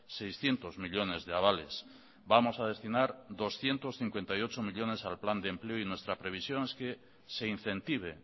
seiscientos millónes de avales vamos a destinar doscientos cincuenta y ocho millónes al plan de empleo y nuestra previsión es que se incentive